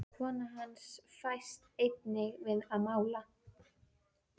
Kona hans fæst einnig við að mála.